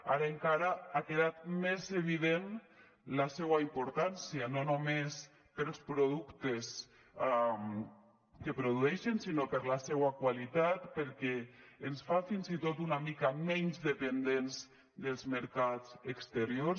ara encara ha quedat més evident la seua importància no només pels productes que produeixen sinó per la seua qualitat perquè ens fa fins i tot una mica menys dependents dels mercats exteriors